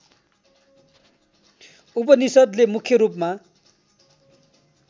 उपनिषद्ले मुख्य रूपमा